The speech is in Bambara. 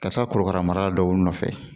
Ka taa korokara mara dɔw nɔfɛ